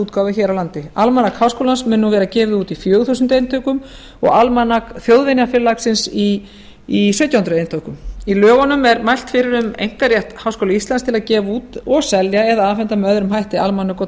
almanaksútgáfu hér á landi almanak háskólans mun nú vera gefið út í fjögur þúsund eintökum og almanak þjóðvinafélagsins í sautján hundruð eintökum í lögunum er mælt fyrir um einkarétt háskóla íslands til að gefa út og selja eða afhenda með öðrum hætti almanök og dagatöl